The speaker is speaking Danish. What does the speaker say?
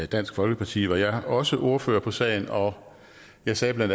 dansk folkeparti var jeg også ordfører på sagen og jeg sagde bla